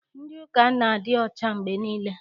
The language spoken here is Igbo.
Ndị ụka a na-adị ọcha mgbe niile.